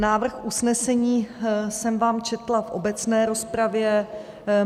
Návrh usnesení jsem vám četla v obecné rozpravě.